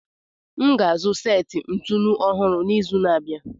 M ga-azụ seti ntụnụ ọhụrụ n'izu na-abịa.